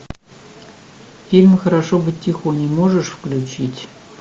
фильм хорошо быть тихоней можешь включить